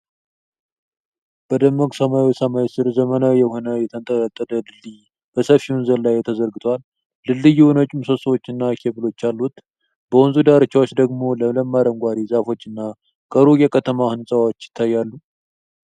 በደማቅ ሰማያዊ ሰማይ ስር ዘመናዊ የሆነ የተንጠለጠለ ድልድይ በሰፊ ወንዝ ላይ ተዘርግቷል። ድልድዩ ነጭ ምሰሶዎችና ኬብሎች አሉት፣ በወንዙ ዳርቻዎች ደግሞ ለምለም አረንጓዴ ዛፎችና ከሩቅ የከተማ ሕንፃዎች ይታያሉ።